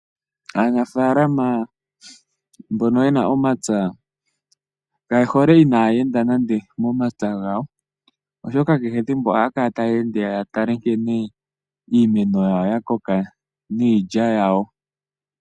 Aanafalama mbono yena omapya, kaye hole inaa yeenda nande momapya gawo, oshoka kehe ethimbo ohaya kala taya ende, yatale nkene iimeno yawo yakoka, niilya yawo.